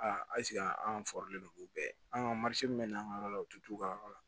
Aa an bɛɛ an ka min na an ka yɔrɔ la u tɛ t'u ka yɔrɔ la